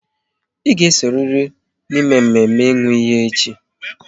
Ị ga esonyeriri n'mme mme ịnwụ iyi echi!